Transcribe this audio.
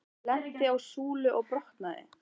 Úr horni flaug glas, lenti á súlu og brotnaði.